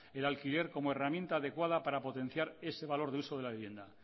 el alquiler como herramienta adecuada para potenciar ese valor de uso de la vivienda